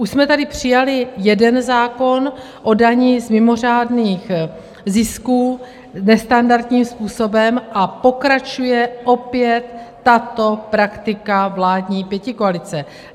Už jsme tady přijali jeden zákon o dani z mimořádných zisků nestandardním způsobem a pokračuje opět tato praktika vládní pětikoalice.